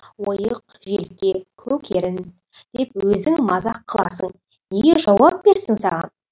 ойық желке көк ерін деп өзің мазақ қыласың неге жауап берсін саған